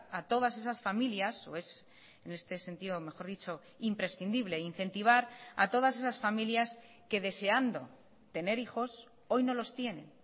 a todas esasfamilias o es en este sentido mejor dicho imprescindible incentivar a todas esas familias que deseando tener hijos hoy no los tienen